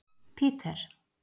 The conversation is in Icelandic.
Peter